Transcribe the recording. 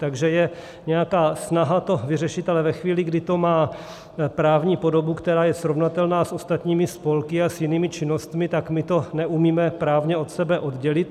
Takže je nějaká snaha to vyřešit, ale ve chvíli, kdy to má právní podobu, která je srovnatelná s ostatními spolky a s jinými činnostmi, tak my to neumíme právně od sebe oddělit.